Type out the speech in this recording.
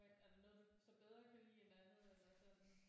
Hvad er der så noget du bedre kan lide end andet eller sådan?